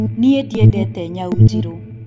Niĩ ndiendete nyau njirũ